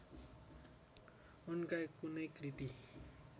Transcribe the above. उनका कुनै कृति